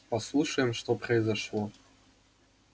послушаем что произошло